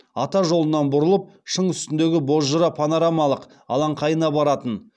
ата жолынан бұрылып шың үстіндегі бозжыра панорамалық алаңқайына баратын